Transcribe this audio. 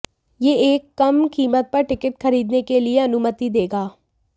यह एक कम कीमत पर टिकट खरीदने के लिए अनुमति देगा